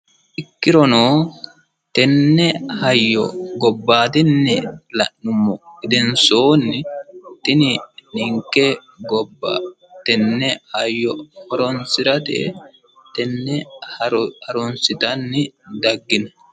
ikkirono tenne hayyo gobvaadinni la'nummoha ikkiro la'nummoha ikkiro tini ninke gobba tenne hayyo horonsiratetenne faro harunssitanni daggino